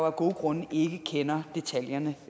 af gode grunde ikke kender detaljerne